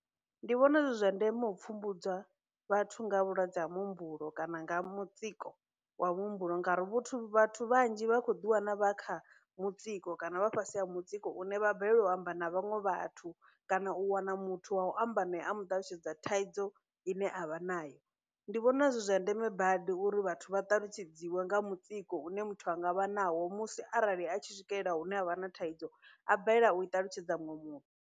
Ndi vhona zwi zwa ndeme u pfhumbudza vhathu nga ha vhulwadze ha muhumbulo kana nga mutsiko wa muhumbulo ngauri vhuthu, vhathu vhanzhi vha khou ḓi wana vha kha mutsiko kana vha fhasi ha mutsiko une vha balelwa u amba na vhaṅwe vhathu kana u wana muthu wa u amba naye a muṱalutshedza thaidzo ine avha nayo, ndi vhona zwi zwa ndeme badi uri vhathu vha ṱalutshedziwe nga mutsiko une muthu anga vha nawo musi arali a tshi swikelela hune havha na thaidzo a balelwa u i ṱalutshedza muṅwe muthu.